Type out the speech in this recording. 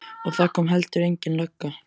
Og það kom heldur engin lögga.